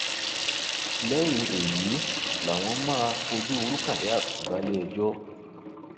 lẹyìn èyí làwọn máa fojú rukayat balẹẹjọ